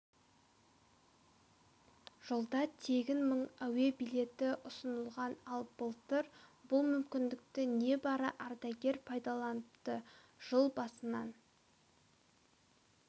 жылда тегін мың әуе билеті ұсынылған ал былтыр бұл мүмкіндікті небары ардагер пайдаланыпты жыл басынан